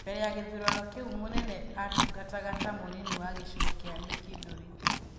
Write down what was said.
Mbere ya gĩthurano kĩu Mũnene atungataga ta mũnini wa gĩcigo kĩa Mĩkindũrĩ.